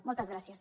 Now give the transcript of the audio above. moltes gràcies